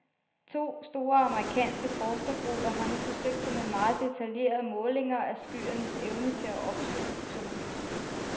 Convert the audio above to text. To store amerikanske forskergrupper har nu forsøgt sig med meget detaljerede målinger af skyernes evne til at opsuge sollys.